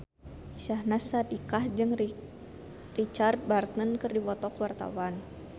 Syahnaz Sadiqah jeung Richard Burton keur dipoto ku wartawan